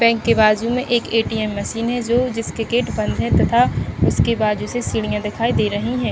Bank के बाजु में एक ए_टी_एम मसीन है जो जिसके गेट बंद है तथा उसके बाजु से सीढियाँ दिखाई दे रहीं हैं।